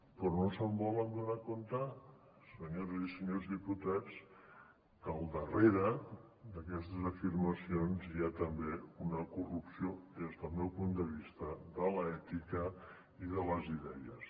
però no es volen adonar senyores i senyors diputats que al darrere d’aquestes afirmacions hi ha també una corrupció des del meu punt de vista de l’ètica i de les idees